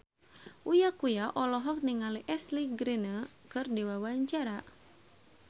Uya Kuya olohok ningali Ashley Greene keur diwawancara